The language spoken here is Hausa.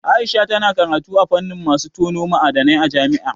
Aisha tana karatu a fannin masu tono ma'adanai a jami'a.